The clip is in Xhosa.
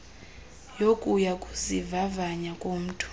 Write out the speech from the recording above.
yokuya kuzivavanya komntu